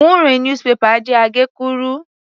Wúnrẹ̀n "newspaper" jẹ́ àgékúrú.